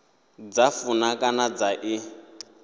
dza funa kana dza i